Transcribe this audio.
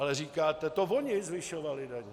Ale říkáte "to voni zvyšovali daně".